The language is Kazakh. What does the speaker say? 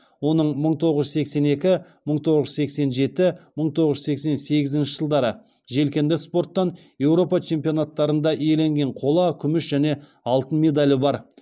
оның мың тоғыз жүз сексен екі мың тоғыз жүз сексен жеті мың тоғыз жүз сексен сегізінші жылдары желкенді спорттан еуропа чемпионаттарында иеленген қола күміс және алтын медалі бар